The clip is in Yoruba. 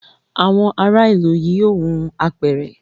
Àwọn ara ilú yí yóò hun àpẹrẹ